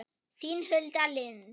Þín Hulda Lind.